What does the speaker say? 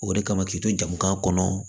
O de kama k'i to jamana kɔnɔ